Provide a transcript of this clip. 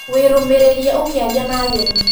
Wĩ rũmĩrĩrie ũkĩaria na ageni